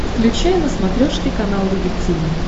включай на смотрешке канал рубль ти ви